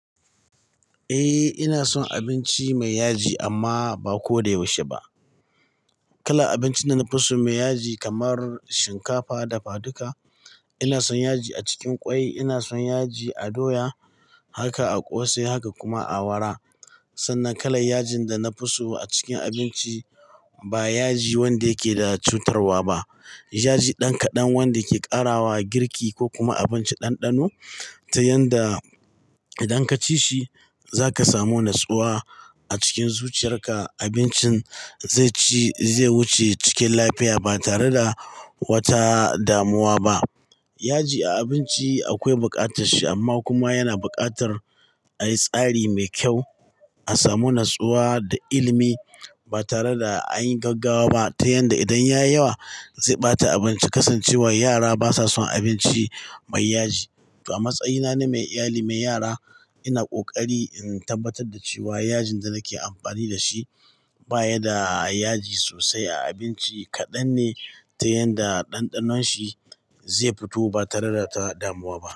Eh, ina son abinci mai yaji amma ba ko da yaushe ba. Kalar abincin da na fi so mai yaji, kamar shinkafa da faduka. Ina son yaji a cikin ƙwai, ina son yaji a doya, haka a ƙosai, haka kuma a wara. Sannan kalar yajin da na fi so a cikin abinci, ba yaji wanda yake da cutarwa ba. Yaji ɗan kaɗan wanda ke ƙarawa girki ko kuma abinci ɗanɗano. Ta yanda, idan ka ci shi, za ka samu natsuwa a cikin zuciyar ka, Abincin zai ci, zai wuce cikin lafiya ba tare da, wata damuwa ba. Yaji a abinci akwai buƙatar shi amma kuma yana buƙatar a yi tsari mai kyau. A samu natsuwa da ilimi ba tare da an yi gaggawa ba. Ta yanda idan ya yi yawa zai ɓata abinci. Kasancewar yara ba sa son abinci, mai yaji. A matsayina na mai iyali mai yara ina ƙoƙari in tabbatad da cewa yajin da nake amfani da shi, baya da yaji sosai a abinci kaɗan ne, Ta yanda ɗanɗanon shi, zai fito ba tare da ta damuwa ba.